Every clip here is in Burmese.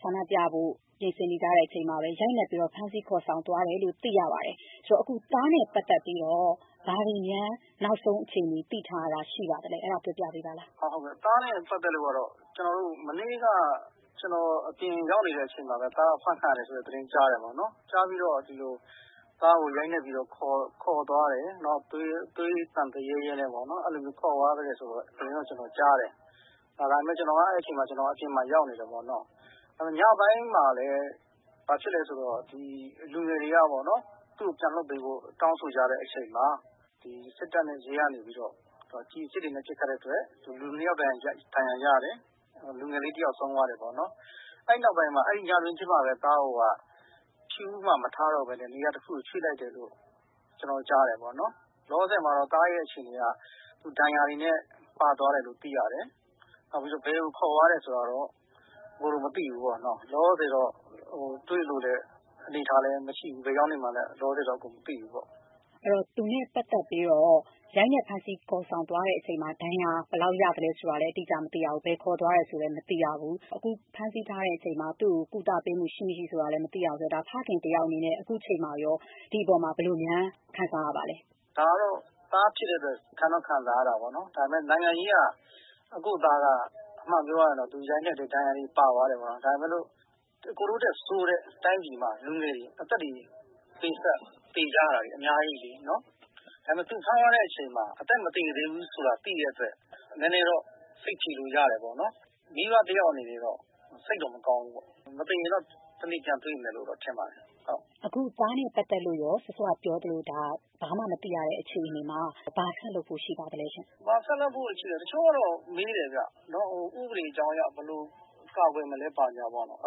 ဆန္ဒပြဖို့ ပြင်ဆင်နေတဲ့အချိန်မှာပဲ ရိုက်နက်ပြီးတော့ ဖမ်းဆီးခေါ်ဆောင်သွားတယ်လို့ သိရပါတယ်။ ဆိုတော့ သားနဲ့ ပတ်သက်ပြီးတော့ ဘာတွေများ နောက်ဆုံးအခြေအနေ သိထားတာ ရှိပါသလဲ အဲဒါပြောပြပေးပါ။ ဟုတ်ကဲ့ သားနဲ့ ပတ်သက်လို့ကတော့ မနေ့က ကျနော်အပြင်ရောက်နေတဲ့အချိန်မှာပဲ သားအဖမ်းခံရတယ်လို့ ကြားတယ်ပေါ့နော် သားကို ရိုက်နက်ပြီးတော့ ခေါ်သွားတယ် ၊ နောက် သွေးသံရဲရဲနဲ့ ခေါ်သွားတယ် ဆိုတဲ့ သတင်းတော့ ကျနော်ကြားတယ် အဲဒီအချိန်မှာ ကျနော်အပြင်ရောက်နေတယ်ပေါ့နော်။ ညပိုင်းမှာလည်း ဘာဖြစ်သလဲဆိုတော့ လူငယ်တွေကပေါ့နော် သူ့ကို ပြန်လွှတ်ပေးဖို့ တောင်းဆိုတဲ့ အချိန်မှာ စစ်တပ်နဲ့ ရဲကနေပြီးတော့ ကျည်အစစ်တွေနဲ့ ပစ်ခတ်တဲ့အတွက် လူ ၂ ယောက် ဒဏ်ရာရတယ်။ လူငယ်လေး တယောက်ဆုံးသွားတယ် ပေါ့နော် ။ အဲဒီနောက်ပိုင်းမှာ ညတွင်းချင်းမှာပဲ သားကို ဖြူးမှာ မထားတော့ပဲနဲ့ နေရာတခုကို ရွှေ့လိုက်တယ်လို့ ကျနော်ကြားတယ်ပေါ့နော်။ လောလောဆည်မှာတော့ သားအခြေအနေက သူဒဏ်ရာတွေနဲ့ ပါသွားတယ်ဆိုတာသိရတယ် ။ ဘယ်ကို ခေါ်သွားတယ်ဆိုတာကတော့ မသိဘူးပေါေ့နာ် ။ လောလောဆည်မှာတော့ တွေ့ဖို့အနေအထားလည်းမရှိဘူး။ ဘယ်ရောက်နေမှန်းလည်း လောလောဆည်မှာတော့ မသိဘူးပေါ့။ အဲဒီတော့ သူနဲ့ ပတ်သက်ပြီးတော့ ရိုက်နက်ဖမ်းဆီးခေါ်ဆောင်သွားတဲ့အချိန်မှာ ဒဏ်ရာ ဘယ်လောက်ရသလဲဆိုတာလည်း အတိအကျမသိရဘူး၊ ဘယ်ခေါ်သွားတယ်ဆိုတာကလည်း မသိရဘူး၊ အခုဖမ်းဆီးထားတဲ့အချိန်မှာ သူ့ကို ကုသပေးမှု ရှိမရှိဆိုတာလည်း မသိရဘူးဆိုတော့ ဖခင်တယောက်အနေနဲ့ အခုအချိန်မှာ ဒီအပေါ်မှာ ဘယ်လိုများ ခံစားရပါသလဲ။ ဒါကတော့ သားဖြစ်တဲ့အတွက် ခံတော့ ခံစားရတာပေါ့နော်။ ဒါပေမယ့် နိုင်ငံရေးက အကို့သားက အမှန်ပြောရရင်တော့ သူ့ကိုရိုက်နက်တယ် သူဒဏ်ရာတွေနဲ့ ပါသွားတယ်ပေါ့နော်။ ဒါပေမယ့်လို့ အကိုတို့ထက်ဆိုးတဲ့၊ တိုင်းပြည်မှာ လူငယ်တွေ အသက်တွေ ပေးဆပ်သေကြတာတွေ အများကြီးလေနော်။ ဒါပေမယ့် သူ့ကို ဖမ်းသွားတဲ့အချိန်မှာ အသက်မသေသေးဘူးဆိုတာ သိတဲ့အတွက် နည်းနည်းတော့ စိတ်ဖြေလို့ ရတယ်ပေါ့နော်။ မိဘတယောက်အနေနဲ့တော့ စိတ်တော့ မကောင်းဘူးပေါ့။ မသေရင်တော့ တနေ့ ပြန်တွေ့မယ်လို့တော့ ထင်ပါတယ်။ အခု သားနဲ့ ပတ်သက်လို့ရော စောစောက ပြောသလို ဒါဘာမှ မသိရတဲ့ အခြေအနေမှာ ဘာဆက်လုပ်ဖို့ ရှိပါသလဲရှင့်။ ဘာဆက်လုပ်ဖို့ ရှိသလဲဆိုတော့ တချို့ကတော့ မေးတယ်ခင်ဗျ ၊ ဥပဒေကြောင်းအရ ဘယ်လို ကာကွယ်မလဲဆိုတာပေါ့နော်။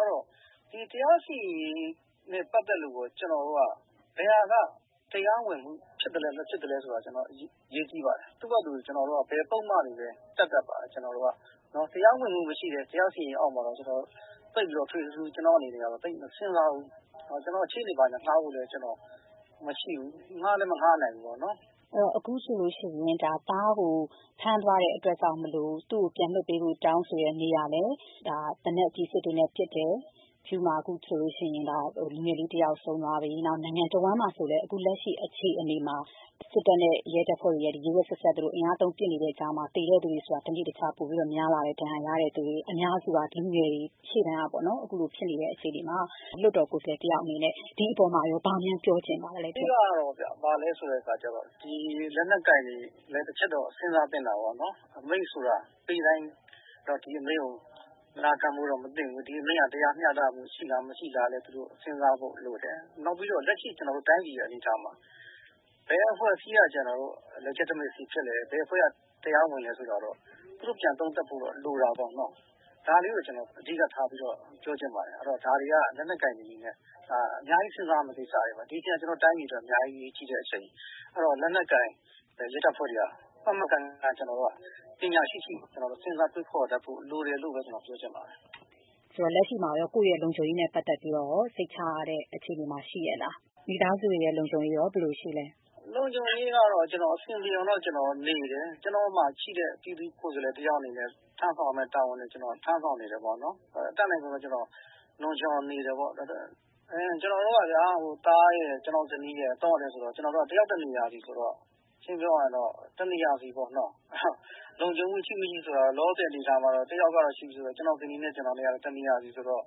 အဲဒီတော့ တရားစီရင်ရေးနဲ့ ပတ်သက်လို့ရော ကျနော်တို့က ဘယ်ဟာက တရားဝင်မှုဖြစ်သလဲ၊ မဖြစ်သလဲဆိုတာ အရေးကြီးပါတယ်။ သူ့ဟာသူ ဘယ်ပုဒ်မတွေပဲ တပ်တပ်ပါ၊ ကျနော်တို့က တရားဝင်မှုမရှိတဲ့ တရားစီရင်ရေးအောက်မှာ သိပ်ပြီးတော့ ထွေထွေထူးထူး ကျနော့်အနေနဲ့တော့ မစဉ်းစားဘူး။ ကျနော် ရှေ့နေတွေဌားဖို့လည်း မရှိဘူး၊ ဌားလည်း မဌားနိုင်ဘူးပေါ့နော်။ အခုဆိုရင် သားကို ဖမ်းသွားတဲ့အတွက်ကြောင့် သူ့ကို ပြန်လွှတ်ပေးဖို့ တောင်းဆိုနေတာမှာလည်း သေနတ် ကျည်အစစ်တွေနဲ့ ပစ်တယ်၊ ဖြူးမှာ အခုဆိုရင် လူငယ်လေး တယောက်ဆုံးသွားပြီ။ နောက်နိုင်ငံတဝှမ်းမှာဆိုရင်လည်း အခုလက်ရှိ အခြေအနေမှာ စစ်တပ်နဲ့ ရဲတပ်ဖွဲ့ဝင်တွေရဲ့ ဒီ ရက်ရက်စက်စက် အင်အားသုံးပစ်နေတဲ့ ကြားမှာ သေတဲ့သူတွေဆိုတာ တနေ့တခြားပိုပြီးတော့ များလာတယ် ၊ ဒဏ်ရာရတဲ့ သူတွေ အများစုဟာ လူငယ်တွေ ရှေ့တန်းမှာ အခုလိုဖြစ်နေတဲ့ အခြေအနေမှာ လွှတ်တော်ကိုယ်စားလှယ်တယောက်အနေနဲ့ ဒီအပေါ်မှာ ဘာများ ပြောချင်ပါသလဲ။ အဓိကတော့ ဘာလဲဆိုတဲ့အခါကျတော့ ဒီလက်နက်ကိုင်တွေလည်း တချက်တော့ စဉ်းစားသင့်တာပေါ့နော်။ အမိန့်ဆိုတာ ပေးတိုင်း ဒီအမိန့်ကို နာခံဖို့ မသင့်ဘူး။ ဒီအမိန့်ဟာ တရားမျှတမှု ရှိလား၊ မရှိဘူးလားဆိုတာ သူတို့ စဉ်းစားဖို့လိုတယ်။ နောက်ပြီးတော့ လက်ရှိ ကျနော်တို့ တိုင်းပြည်အနေအထားမှာ ဘယ်အဖွဲ့အစည်းက ကျနော်တို့ Legitimacy ဖြစ်သလဲ ၊ ဘယ်အဖွဲ့က တရားမဝင်ဘူးလဲဆိုတာကတော့ သူတို့ ပြန်သုံးသပ်ဖို့ လိုတာပေါ့နော်။ ဒါလေးကို ကျနော်အဓိက ထားပြီးတော့ ပြောချင်ပါတယ်။ ဒါတွေက လက်နက်ကိုင်အနေနဲ့ အများကြီး စဉ်းစားရမယ့် ကိစ္စပါ။ ဒီအချိန်က ကျနော်တို့ တိုင်းပြည်အတွက် အများကြီးအရေးကြီးတဲ့အချိန် အဲဒီတော့ လက်နက်ကိုင်တဲ့ ရဲတပ်ဖွဲ့တွေက မှန်မှန်ကန်ကန် ပညာရှိရှိ ကျနော်တို့ စဉ်းစားတွေးခေါ်တတ်ဖို့ လိုတယ်လို့ ကျနေ်ာပြောချင်ပါတယ်။ ဆိုတော့ လက်ရှိမှာရော ကိုယ့်လုံခြုံရေးနဲ့ ပတ်သက်ပြီးတော့ စိတ်ချရတဲ့ အခြေအနေမှာ ရှိရဲ့လား။ မိသားစု လုံခြုံရေးရော ဘယ်လိုရှိသလဲ။ လုံခြုံရေးကတော့ ကျနော်အဆင်ပြေအောင်တော့ ကျနော်နေတယ်။ ကျနော့်မှာ ရှိတဲ့ ပြည်သူ့ကိုယ်စားလှယ်တယောက်အနေနဲ့ ထမ်းဆောင်ရမယ့် တာဝန်တွေ ကျနော်ထမ်းဆောင်နေတယ် ပေါ့နော်။ အတတ်နိုင်ဆုံးတော့ ကျနော်လုံခြုံအောင်နေတယ်။ ကျနော်တို့ကဗျာ သားရယ်၊ ကျနော့်ဇနီးရယ် တယောက်တနေရာစီ ဆိုတော့ ရှင်းရှင်းပြောရရင်တော့ တနေရာစီပေါ့နော်။ လုံခြုံမှုရှိမရှိဆိုတာ လောလောဆည်မှာတော့ တယောက်ကတော့ရှိပြီဆိုတော့ ကျနော့်ဇနီးနဲ့ ကျနော်ကတော့ တယောက်တနေရာစီ ဆိုတော့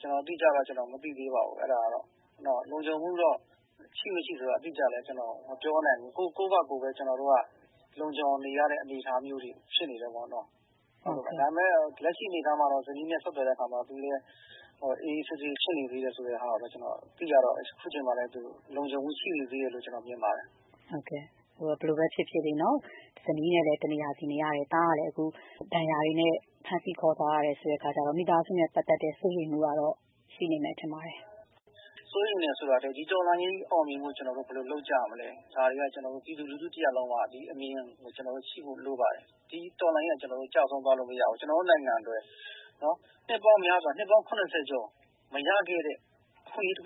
ကျနော်အတိအကျကတော့ မသိသေးပါဘူး။ လုံခြုံမှုရှိမရှိဆိုတာကျနော့် အတိအကျ မပြောနိုင်ဘူး။ ကိုယ့်ဟာကိုယ်ပဲ ကျနော်တို့က လုံခြုံအောင်နေရတဲ့ အနေအထားမျိုး ဖြစ်နေတယ်ပေါ့နော်။ ဒါပေမယ့် လက်ရှိအနေအထားမှာတော့ ဇနီးနဲ့ ဆက်သွားတဲ့ အခါမှာတော့ အေးအေးဆေးဆေးဖြစ်နေတယ်ဆိုတဲ့ အနေအထားကို သိရတော့ အခုအချိန်မှာ သူ လုံခြုံမှုရှိနေသေးတယ်လို့ မြင်ပါတယ်။ ဟုတ်ကဲ့ ဘယ်လိုပဲဖြစ်ဖြစ် ဇနီးနဲ့လည်း တနေရာစီနေရတယ်၊ သားကလည်း အခု ဒဏ်ရာတွေနဲ့ ဖမ်းဆီးခေါ်ဆောင်ခံရတယ်ဆိုတော့မိသားစုနဲ့ ပတ်သက်တဲ့ စိုးရိမ်မှုတော့ ရှိနေမယ်လို့ ထင်ပါတယ်။ စိုးရိမ်တယ်ဆိုတာထက် ဒီတော်လှန်ရေးကြီးအောင်မြင်ဖို့ ကျနော်တို့ ဘယ်လို လုပ်ကြမလဲ ဒါတွေက ကျနော်တို့ ပြည်သူလူထုတရပ်လုံးက ဒီအမြင်ကို ကျနော်တို့ ရှိဖို့ လိုပါတယ်။ ဒီတော်လှန်ရေးက ကျနော်တို့ ကျဆုံးသွားလို့မရဘူး။ ကျနော်တို့နိုင်ငံက နှစ်ပေါင်းများစွာ နှစ်ပေါင်း ၇၀ ကျော်မရခဲ့တဲ့ အခွင့်အရေးတခု